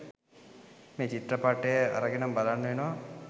මේ චිත්‍රපටය අරගෙනම බලන්න වෙනවා.